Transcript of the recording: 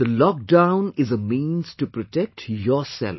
This lockdown is a means to protect yourself